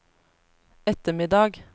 ettermiddag